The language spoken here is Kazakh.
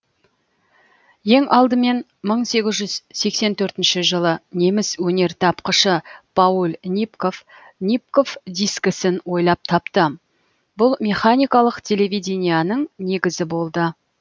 ең алдымен мың сегіз жүз сексен төртінші жылы неміс өнертапқышы пауль нипков нипков дискісін ойлап тапты бұл механикалық телевиденияның негізі болды